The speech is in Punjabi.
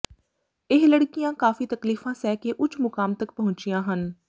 ਇਹ ਲੜਕੀਆਂ ਕਾਫੀ ਤਕਲੀਫਾਂ ਸਹਿ ਕੇ ਉੱਚ ਮੁਕਾਮ ਤਕ ਪਹੁੰਚੀਆਂ ਹਨ